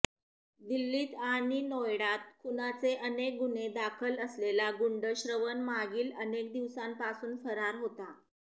दिल्लीत अणि नोएडात खुनाचे अनेक गुन्हे दाखल असलेला गुंड श्रवन मागील अनेक दिवसांपासून फरार होता